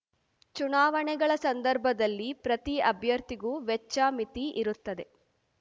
ಚುನಾವಣೆಗಳ ಸಂದರ್ಭದಲ್ಲಿ ಪ್ರತಿ ಅಭ್ಯರ್ಥಿಗೂ ವೆಚ್ಚ ಮಿತಿ ಇರುತ್ತದೆ